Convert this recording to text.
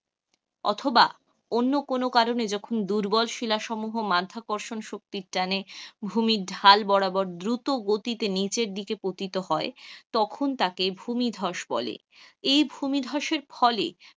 অথবা অন্য কোন কারণে যখন দুর্বল শিলা সমুহ মাধ্যাকর্ষণ শক্তির টানে ভূমি ঢাল বরাবর, দ্রুত গতিতে নীচের দিকে পতিত হয়, তখন তাকে ভূমি ধ্বস বলে, এই ভূমি ধ্বসের ফলে,